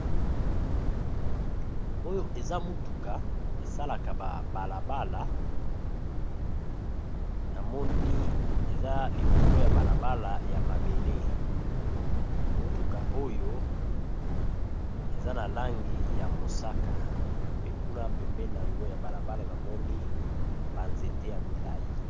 Oyo eza motuka esalaka ba bala bala, namoni eza likolo ya bala bala ya mabele motuka oyo eza na langi ya mosaka pe kuna pembeni nango ya bala bala namoni ba nzete ya milayi.